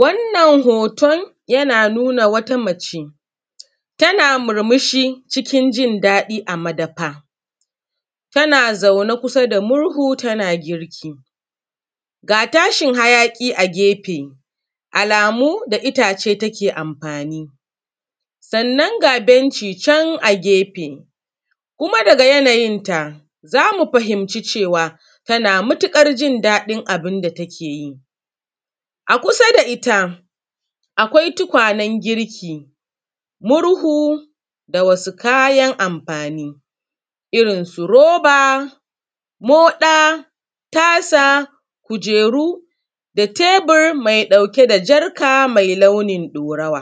Wannan hoton yana nuna wata mace tana murmushi cikin jin daɗi a madafa, tana zaune kusa da murhu tana girki, ga tashi hayaƙi a gefe alamu da itace take amfani, sannan ga benci can a gefe, kuma daga yana yinta zamu fahimce cewa tana matukar jin daɗin abinda take yi. A kusa da ita akwai tukwanen girki murhu da wasu kayan amfani, irin su roba, moɗa, tasa, kujeru, da tebur mai ɗauke da jarka mai launin ɗaurawa.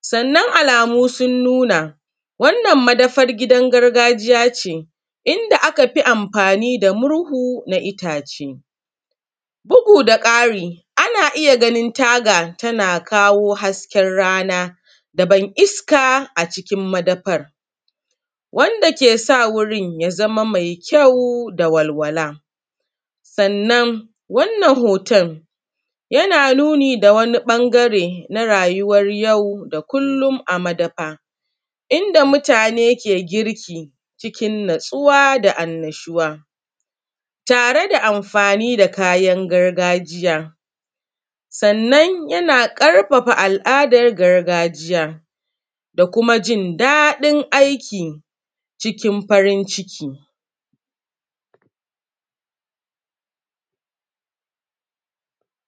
Sannan alamu sun nuna wannan madafar gidan gargajiya ce, idan aka fi amfani da murhu na itace, bugu da ƙari ana iya ganin taga tana kawo hasken rana da ban iska a cikin madafan, wanda kesa wurin ya zama mai kyau da walwala, sannan wannan hoton yana nuni da wani bangare na rayuwar yau da kullum a madafa, inda mutane ke girki cikin natsuwa da annashuwa tare da amfani da kayan gargajiya sannan yana ƙarfafa al’adar gargajiya da kuma jin daɗin aiki cikin farin ciki.